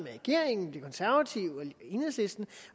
regeringen de konservative og enhedslisten